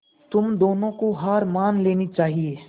तुम दोनों को हार मान लेनी चाहियें